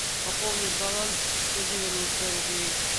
пополнить баланс сто девяносто рублей